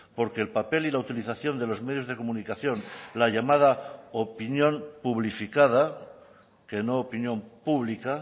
porque el papel y la utilización de los medios de comunicación la llamada opinión publificada que no opinión pública